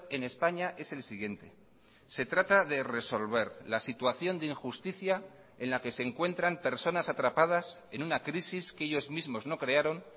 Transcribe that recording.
en españa es el siguiente se trata de resolver la situación de injusticia en la que se encuentran personas atrapadas en una crisis que ellos mismos no crearon